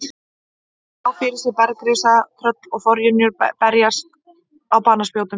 Hún sá fyrir sér bergrisa, tröll og forynjur berast á banaspjótum.